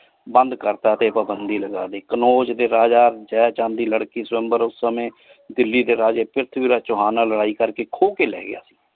ਬੰਦ ਕਰਤਾ ਟੀ ਪਾਬੰਦੀ ਲਗਾ ਦੇ ਕਾਨੂਜ ਦੇ ਰਾਜਾ ਜਏ ਚਾਨ ਦੇ ਲਾਰ੍ਕੀ ਸੁਆਮ੍ਬੇਰ ਓਸ ਸਮਾਏ ਦਿੱਲੀ ਦੇ ਰਾਜੀ ਪ੍ਰਿਥਵੀ ਰਾਜ ਚੁਹਾਨ ਨਾਲ ਲਾਰੀ ਕਰ ਕੀ ਖੋ ਕੀ ਲੈ ਗਯਾ।